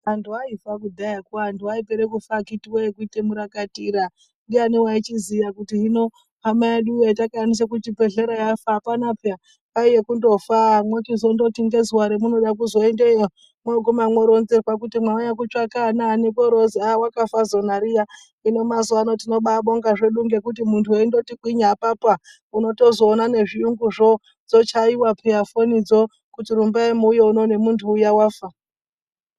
Antu aifa kudayako, antu aipera kufa akiti woye kuita murakatira. Ndiayani waichiziya kuti hino hama yedu yatakaendesa kuchibhedhlera yafa pheya kwaiya kundofa mwochizondoti ngezuwa ramunoda kuzoendeyo , mwoguma mworenzerwa kuti mwauya kutsvaya anaani , kworoozi wakafa zona riya. Hino mazuwaano tinomba apa kubonga hedu ngekuti mazuwa ano uchingoti kwinya apapa, unotoona ngezviyunguzvo dzochaiwa peya fonidzo zvechizi rumbai muuye kuno nemuntu uya wafa.